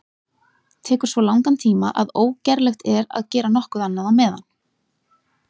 Tekur svo langan tíma að ógerlegt er að gera nokkuð annað á meðan.